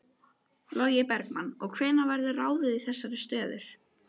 Logi Bergmann: Og hvenær verður ráðið í þessar stöður?